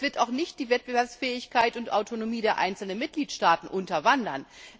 Und er wird auch nicht die Wettbewerbsfähigkeit und Autonomie der einzelnen Mitgliedstaaten unterwandern.